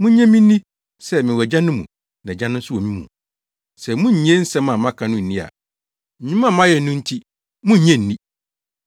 Munnye me nni sɛ mewɔ Agya no mu na Agya no nso wɔ me mu. Sɛ munnnye nsɛm a maka no nni a, nnwuma a mayɛ no nti, munnye nni.